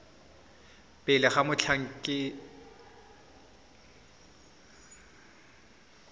pele ga mothati motlhankedi mongwe